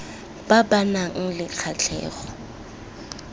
ba ba nang le kgatlhego